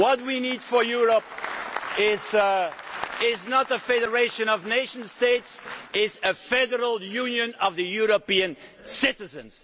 What we need for Europe is not a federation of nation states it is a federal union of European citizens.